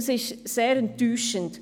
Das ist sehr enttäuschend.